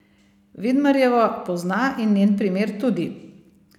Vidmarjevo pozna in njen primer tudi.